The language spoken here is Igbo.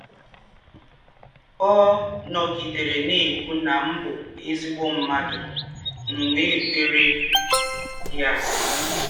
Ọ̀ nògídèrè nà-ékwụ́ nà m bụ́ èzí̄gbọ̀ mmádụ̀, m wẹ́ kwèrè yá.